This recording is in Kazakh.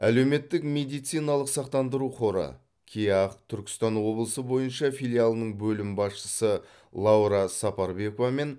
әлеуметтік медициналық сақтандыру қоры кеақ түркістан облысы бойынша филиалының бөлім басшысы лаура сапарбекова мен